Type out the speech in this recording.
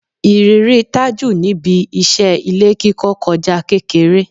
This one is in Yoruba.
Ìrírí Tájù níbi iṣẹ́ ilé kíkọ kọjá kékeré